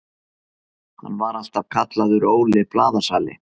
Hann var alltaf kallaður Óli blaðasali.